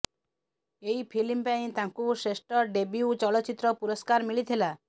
ଏହି ଫିଲ୍ମ ପାଇଁ ତାଙ୍କୁ ଶ୍ରେଷ୍ଠ ଡେବ୍ୟୁ ଚଳଚ୍ଚିତ୍ର ପୁରସ୍କାର ମିଳିଥିଲା